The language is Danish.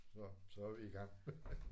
Så så er vi i gang